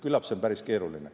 Küllap see on päris keeruline.